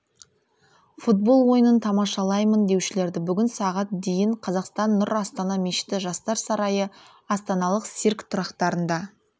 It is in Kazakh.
футбол ойынын тамашалаймын деушілерді бүгін сағат дейін қазақстан нұр астана мешіті жастар сарайы астаналық цирк тұрақтарында